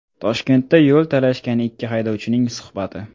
Toshkentda yo‘l talashgan ikki haydovchining suhbati.